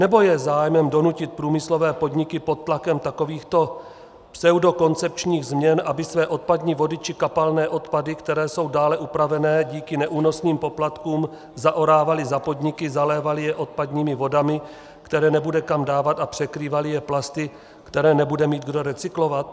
Nebo je zájmem donutit průmyslové podniky pod tlakem takovýchto pseudokoncepčních změn, aby své odpadní vody či kapalné odpady, které jsou dále upravené díky neúnosným poplatkům, zaorávaly za podniky, zalévaly je odpadními vodami, které nebude kam dávat, a překrývaly je plasty, které nebude mít kdo recyklovat?